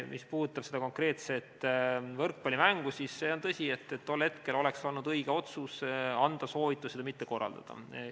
Mis puudutab seda konkreetset võrkpallimängu, siis on tõsi, et tol hetkel oleks olnud õige anda soovitus seda mitte korraldada.